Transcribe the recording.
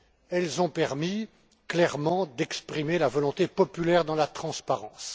Elles ont permis, clairement, d'exprimer la volonté populaire dans la transparence.